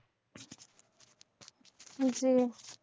জি